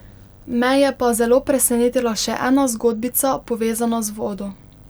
Me je pa zelo presenetila še ena zgodbica, povezana z vodo.